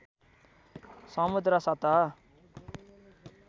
समुद्र सतह